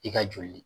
I ka joli